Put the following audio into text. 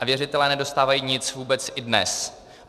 A věřitelé nedostávají vůbec nic i dnes.